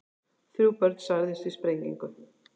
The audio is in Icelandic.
Þrjú börn særðust í sprengingu